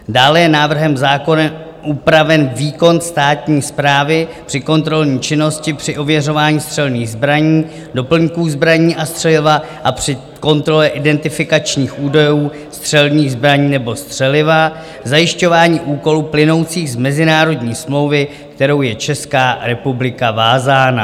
Dále je návrhem zákona upraven výkon státní správy při kontrolní činnosti při ověřování střelných zbraní, doplňků zbraní a střeliva a při kontrole identifikačních údajů střelných zbraní nebo střeliva, zajišťování úkolů plynoucích z mezinárodní smlouvy, kterou je Česká republika vázána.